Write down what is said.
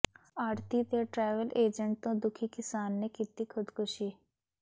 ਆੜ੍ਹਤੀ ਤੇ travel agent ਤੋਂ ਦੁਖੀ ਕਿਸਾਨ ਨੇ ਕੀਤੀ ਖ਼ੁਦਕੁਸ਼ੀ